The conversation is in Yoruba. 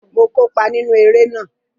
Mo kópa nínú eré náà